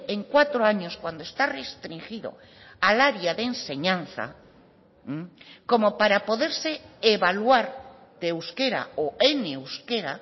en cuatro años cuando está restringido al área de enseñanza como para poderse evaluar de euskera o en euskera